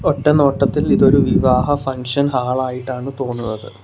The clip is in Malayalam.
ഒറ്റ നോട്ടത്തിൽ ഇതൊരു വിവാഹ ഫംഗ്ഷൻ ഹാൾ ആയിട്ടാണ് തോന്നുന്നത്.